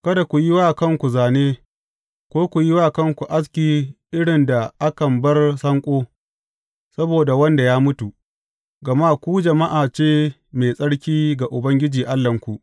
Kada ku yi wa kanku zāne, ko ku yi wa kanku aski irin da akan bar sanƙo, saboda wanda ya mutu, gama ku jama’a ce mai tsarki ga Ubangiji Allahnku.